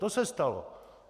To se stalo.